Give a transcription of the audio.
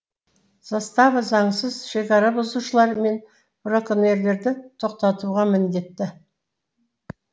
застава заңсыз шекара бұзушылар мен браконьерлерді тоқтатуға міндетті